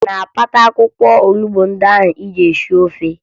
Ị na-akpata akwụkwọ onubo ị ga-eji sie ofe?